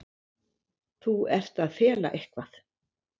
Þú ert að fela eitthvað.